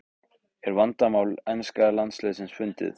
Er vandamál enska landsliðsins fundið?